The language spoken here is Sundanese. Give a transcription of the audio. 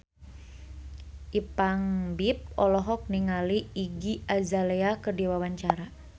Ipank BIP olohok ningali Iggy Azalea keur diwawancara